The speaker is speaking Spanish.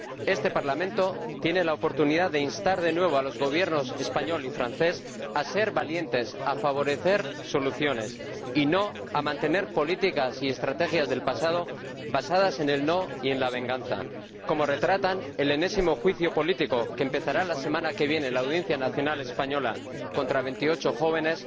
Este Parlamento tiene la oportunidad de instar, de nuevo, a los Gobiernos español y francés a ser valientes, a favorecer soluciones y no a mantener políticas y estrategias del pasado basadas en el no y en la venganza, como retratan el enésimo juicio político que empezará la semana que viene en la Audiencia Nacional española contra veintiocho jóvenes